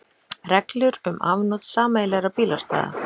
Reglur um afnot sameiginlegra bílastæða.